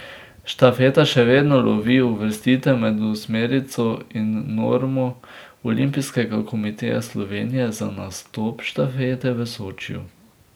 Štafeta še vedno lovi uvrstitev med osmerico in normo Olimpijskega komiteja Slovenije za nastop štafete v Sočiju.